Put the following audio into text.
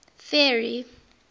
ferry